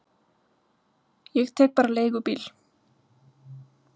Ég tek bara leigubíl.